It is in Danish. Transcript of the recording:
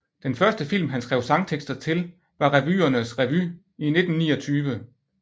Den første film han skrev sangtekster til var Revyernes revy i 1929